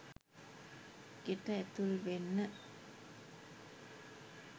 ගෙට ඇතුල් වෙන්න